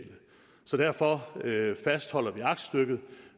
så derfor fastholder vi aktstykket